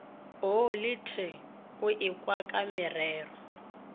o le t t oekwakamorero